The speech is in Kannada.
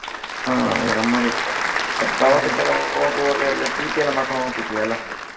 ಹಾ ಅದೆಲ್ಲ ಗಮ್ಮತ್ ಇತ್ತು ಮತ್ತ ಪ್ರವಾಸಕ್ಕ ಎಲ್ಲಾ ಹೋಗುವಾಗ ಎಲ್ಲಾ ಚೀಟಿ ಎಲ್ಲಾ ಮಾಡ್ಕೊಂಡು ಹೋಗ್ತಿದ್ವಿ ಅಲ್ಲಾ.